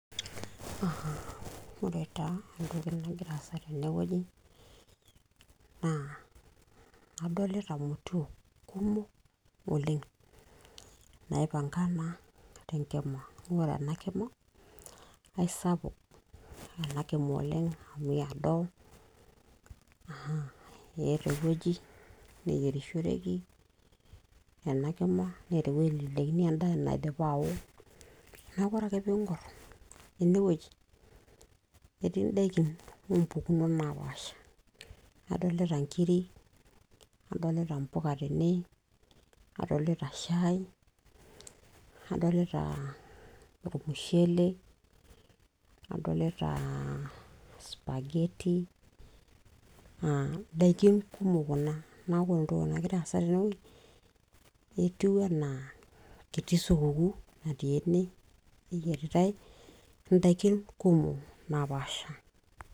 a ore taa entoki nangira asa teneweuji, na adolita imotiok kumok oleng ,naipangana tengima, na ore ena kima na kisapuk oleng, amu iado eata eweuji nayierishoreki, ena kima neeta eweuji naitelekeni enda naindipa ao, niaku ore ake pingor ene weuji eti indaiki ompukunot napasha, adolita inkiri, adolita mpuka tene, adolita shai, adolita aaa olmushele, adolita supageti, na ndaiki kumok kuna, niaku ore entoki nangira asa teneweuji etiu ena eti supuku natii ene peyieritae indaiki kumok napasha,